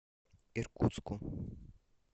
иркутску